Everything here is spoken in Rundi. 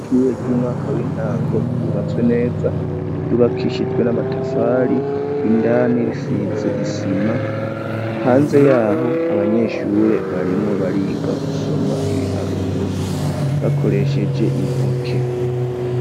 Ishure ry'umwaka w'intango ryubatswe neza, ryubakishijwe n'amatafari ,indani risize isima, hanze yaho abanyeshure barimwo bariga gusoma ibiharuro, bakoresheje intoke.